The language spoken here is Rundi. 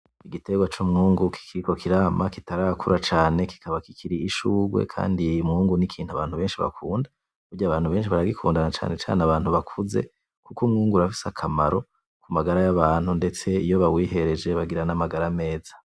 Igiterwa c'umwungu kikiriko kirama neza kitarakura cane kikaba kikiri ibishurwe umwungu n'ikintu abantu beshi bakunda burya abantu beshi baragikunda na cane cane abantu bakuze kuko umwungu urafise akamaro ku magara y'abantu ndetse iyo bawihereje bagira n'amagara meza.